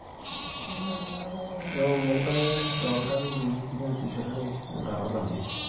ewuowu enkare too iltangii niasishorere tenkata olameyu